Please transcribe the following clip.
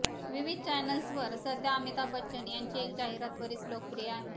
विविध चॅनेल्सवर सध्या अमिताभ बच्चन यांची एक जाहिरात बरीच लोकप्रिय आहे